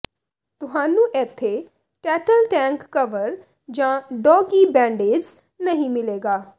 ਤੁਹਾਨੂੰ ਇੱਥੇ ਟੈਟਲ ਟੈਂਕ ਕਵਰ ਜਾਂ ਡੌਗਿੀ ਬੈਂਡੇਜ਼ ਨਹੀਂ ਮਿਲੇਗਾ